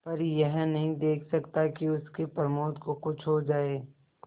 पर यह नहीं देख सकता कि उसके प्रमोद को कुछ हो जाए